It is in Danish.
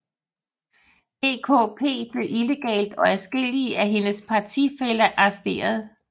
DKP blev illegalt og adskillige af hendes partifæller arresteret